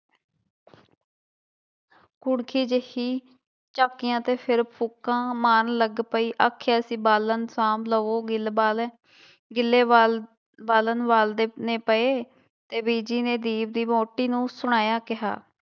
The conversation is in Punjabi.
ਕੁਣਖੀ ਜਿਹੀ ਝਾਕੀਆਂ ਤੇ ਫਿਰ ਫ਼ੂਕਾਂ ਮਾਰਨ ਲੱਗ ਪਈ, ਆਖਿਆ ਸੀ ਬਾਲਣ ਸਾਂਭ ਲਵੋ ਗਿੱਲਬਾਲ ਹੈ, ਗਿੱਲੇ ਬਾਲ ਬਾਲਣ ਬਲਦੇ ਨੀ ਪਏ, ਤੇ ਬੀਜੀ ਨੇ ਦੀਪ ਦੀ ਵਹੁਟੀ ਨੂੰ ਸਣਾਇਆ ਕਿਹਾ।